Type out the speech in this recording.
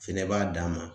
Fɛnɛ b'a d'a ma